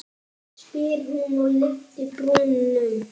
spyr hún og lyftir brúnum.